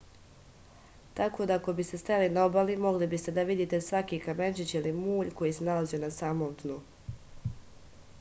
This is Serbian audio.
tako da ako biste stajali na obali mogli biste da vidite svaki kamenčić ili mulj koji se nalazio na samom dnu